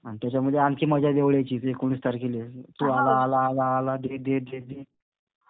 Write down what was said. आणि त्याच्यामध्ये आणखी मजा जवळ यायची, एकोणीस तारखेला. तो आला, आला, आला, आला. दे, दे, दे, दे.